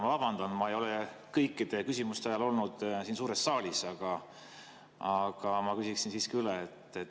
Ma vabandan, ma ei ole kõikide küsimuste ajal olnud siin suures saalis, aga ma küsiksin siiski üle.